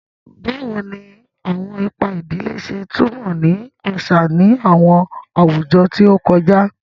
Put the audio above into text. Bawo ni awọn ipa idile ṣe tumọ ni aṣa ni awọn awujọ ti o kọja?